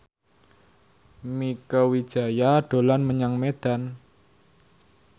Mieke Wijaya dolan menyang Medan